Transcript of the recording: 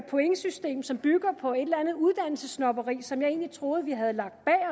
pointsystem som bygger på et eller andet uddannelsessnobberi som jeg egentlig troede vi havde lagt